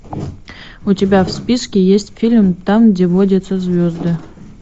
у тебя в списке есть фильм там где водятся звезды